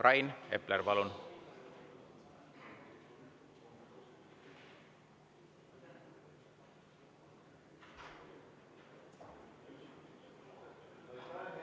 Rain Epler, palun!